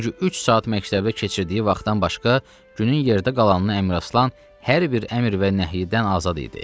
Çünki üç saat məktəbdə keçirdiyi vaxtdan başqa günün yerdə qalanını Əmiraslan hər bir əmr və nəhyidən azad idi.